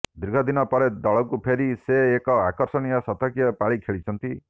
ଦୀର୍ଘଦିନ ପରେ ଦଳକୁ ଫେରି ସେ ଏକ ଆକର୍ଷଣୀୟ ଶତକୀୟ ପାଳି ଖେଳିଛନ୍ତି